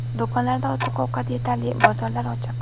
Do‘konlarda oziq-ovqat yetarli, bozorlar ochiq.